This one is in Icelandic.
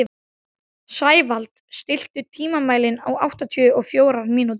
Sævald, stilltu tímamælinn á áttatíu og fjórar mínútur.